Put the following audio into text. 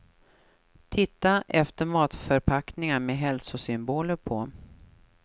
Titta efter matförpackningar med hälsosymboler på.